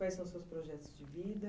Quais são os seus projetos de vida?